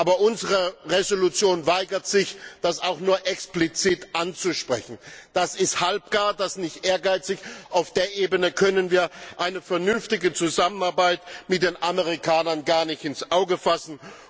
Aber unsere Entschließung weigert sich, das auch nur explizit anzusprechen. Das ist halbgar, das ist nicht ehrgeizig, auf der Ebene können wir eine vernünftige Zusammenarbeit mit den Amerikanern gar nicht ins Auge fassen.